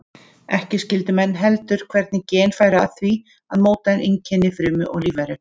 Ekki skildu menn heldur hvernig gen færu að því að móta einkenni frumu og lífveru.